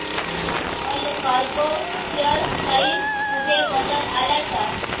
Allcargo share price मध्ये बदल आलाय का